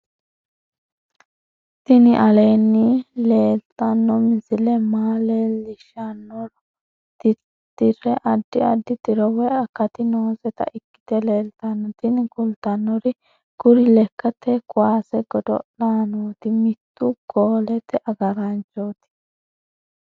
tini aleenni leetanno misile maa leellishshannoro tirriri addi addi tiro woy akati nooseta ikkite leeltanno tini kultannori kuri lekkate kuwase godo'laanooti miittu golete agaraanchooti